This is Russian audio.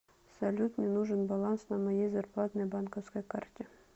салют мне нужен баланс на моей зарплатной банковской карте